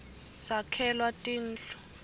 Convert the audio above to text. sakhelwa tindu